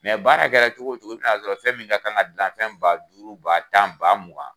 baara kɛra cogo cogo i bina sɔrɔ fɛn min ka kan ka gilan fɛn ba duuru ba tan ba mugan